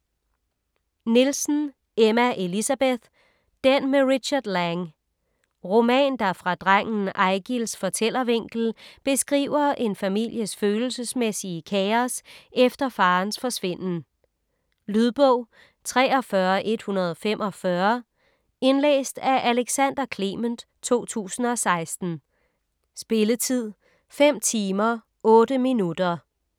Nielsen, Emma Elisabeth: Den med Richard Lange Roman, der fra drengen Eigils fortællervinkel beskriver en families følelsesmæssige kaos efter farens forsvinden. Lydbog 43145 Indlæst af Alexander Clement, 2016. Spilletid: 5 timer, 8 minutter.